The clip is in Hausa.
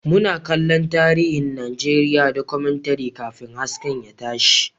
Muna kallon tarihin Najeriya Documentary kafin hasken ya tashi